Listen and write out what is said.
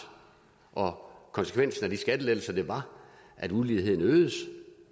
og konsekvensen af de skattelettelser var at uligheden øgedes